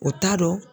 O t'a dɔn